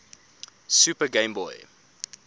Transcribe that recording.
super game boy